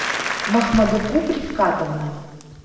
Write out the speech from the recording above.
махмадекуб рифкатовна